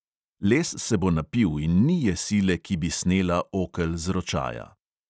Les se bo napil in ni je sile, ki bi snela okel z ročaja!